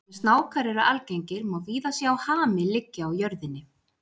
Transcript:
Þar sem snákar eru algengir má víða sjá hami liggja á jörðinni.